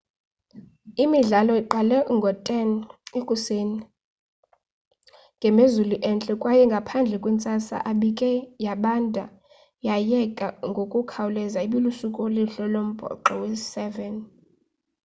imidlalo iqale ngo-10 00 ekuseni ngemozulu entle kwaye ngaphandle kwentsasa ebike yabanda yayeka ngokukhawuleza ibilusuku oluhle lombhoxo wesi-7